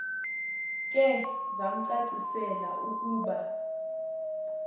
ke vamcacisela ukuba